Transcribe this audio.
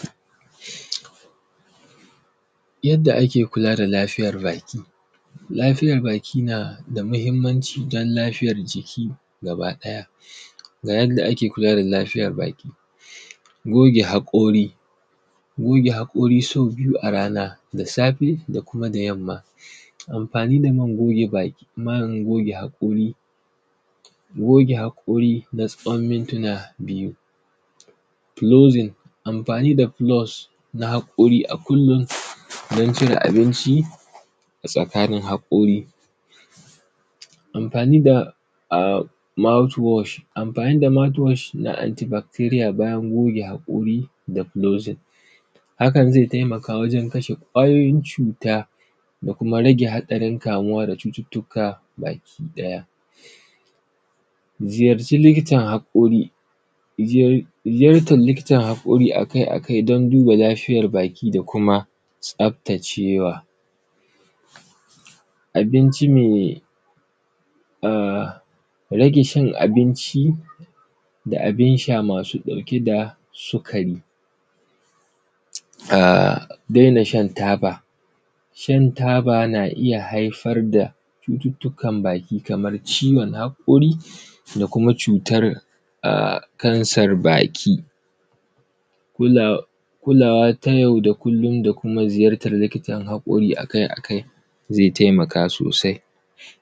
Yadda ake kula da lafiyar baki, lafiyar baki na da muhimmaci dan lafiyar jiki gaba ɗaya. Ga yadda da ake kula da lafiyar baki, goge haƙori goge haƙori sau biyu a rana da safe da kuma da yamma. Amfani da man goge baki, man goge haƙori, goge haƙori na tsawon mintina biyu, kulozin amfani da kulus na haƙari a kullum don cire abinci a tsakanin haƙori, amfani da mouth worsh, amfani da mouth worsh na anty victoria bayan goge haƙori da closing.. Hakan zai taimaka wajen kashe ƙwayoyin cuta da kuma rage haɗarin kamuwa da cututtuka baki ɗaya,. Ziyarci likitan haƙori, zayartan likitan haƙori a kai a kai dan duba lafiyar baki da kuma tsaftacewa. Abinci mai ahh rage cin abinci da abin sha masu ɗauke da sukari. A daina shan taba, shan taba na iya haifar da cututtkan baki kamar ciwon haƙori da kuma cutar kansar baki, kulawa ta yau da kullum da kuma zyartar likitan haƙori a kai a kai zai taimaka sosai.